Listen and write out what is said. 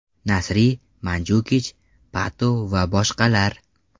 Nasri, Manjukich, Pato va boshqalar.